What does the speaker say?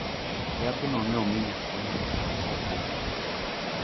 yadhno ne omi nyathino e saa ma ok owinjore